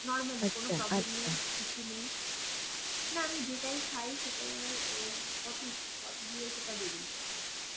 normal আমি কিছু নেই, না আমি যেটাই খাই, সেটাই আবার poty~poty দিয়ে সেটা বেরিয়ে যাই.